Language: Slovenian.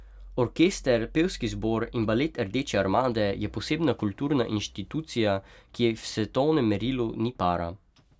Orkester, pevski zbor in balet Rdeče armade je posebna kulturna inštitucija, ki ji v svetovnem merilu ni para.